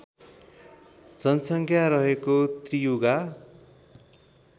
जनसङ्ख्या रहेको त्रियुगा